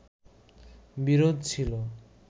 বিরোধ ছিলো